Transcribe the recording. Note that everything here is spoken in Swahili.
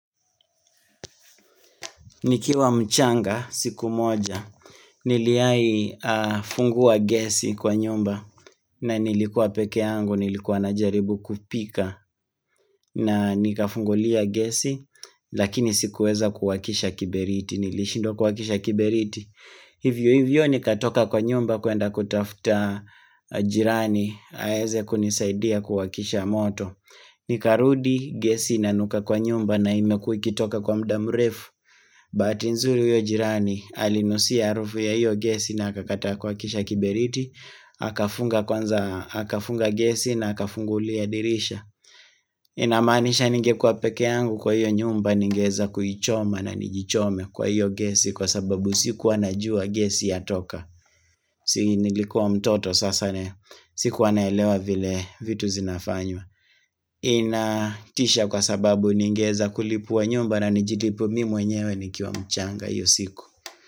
Nikiwa mchanga siku moja niliayi fungua gesi kwa nyumba na nilikua pekee yangu nilikua najaribu kupika na nikafungulia gesi lakini sikuweza kuwakisha kiberiti nilishindwa kuwakisha kiberiti Hivyo hivyo nikatoka kwa nyumba kuenda kutafuta jirani aweze kunisaidia kuwakisha moto Nikarudi gesi na inuka kwa nyumba na imekuwa ikitoka kwa muda mrefu Bahati nzuri huyo jirani alinusia harufu ya hiyo gesi na akataa kuwakisha kiberiti akafunga kwanza akafunga gesi na akafungulia dirisha inamaanisha ninge kuwa pekee yangu kwa hiyo nyumba ningeweza kuichoma na nijichome kwa hiyo gesi Kwa sababu siku anajua gesi ya toka Si nilikuwa mtoto sasa ne siku naelewa vile vitu zinafanywa ina isha kwa sababu ningeza kulipua nyumba na nijilipue mimi mwenyewe nikiwa mchanga hiyo siku.